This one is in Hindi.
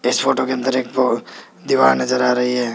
इस फोटो के अंदर एक वो दीवार नजर आ रही है।